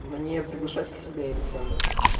мне приглашать к себе александра